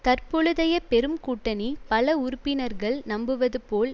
தற்பொழுதைய பெரும் கூட்டணி பல உறுப்பினர்கள் நம்புவது போல்